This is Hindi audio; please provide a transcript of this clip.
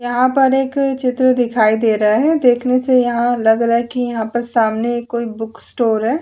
यहां पर एक चित्र दिखाई दे रहा है देखने से यहां लग रहा है कि यहां पर सामने कोई बुक स्टोर है।